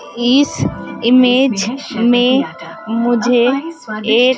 इस इमेज में मुझे एक--